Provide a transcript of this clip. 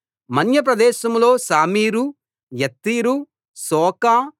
మన్య ప్రదేశంలో షామీరు యత్తీరు శోకో